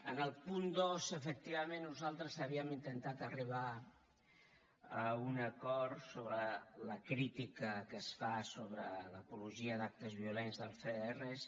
en el punt dos efectivament nosaltres havíem intentat arribar a un acord sobre la crítica que es fa sobre l’apologia d’actes violents dels cdrs